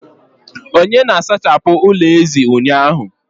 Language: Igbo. Onye na-asachapụ ụlọ ezi ụnyaahụ?.